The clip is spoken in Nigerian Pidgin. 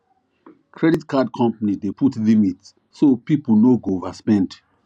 credit card company dey put limit so people no go overspend